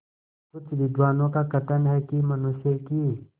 कुछ विद्वानों का कथन है कि मनुष्य की